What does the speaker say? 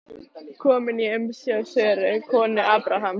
Kominn í umsjá Söru, konu Abrahams.